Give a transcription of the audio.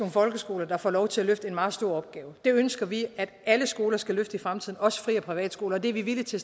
folkeskoler der får lov til at løfte en meget stor opgave det ønsker vi at alle skoler skal løfte i fremtiden også fri og privatskoler og det er vi villige til